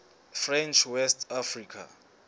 french west africa